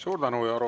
Suur tänu!